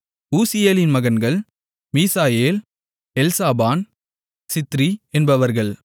ஊசியேலின் மகன்கள் மீசாயேல் எல்சாபான் சித்ரி என்பவர்கள்